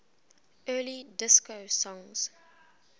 early disco songs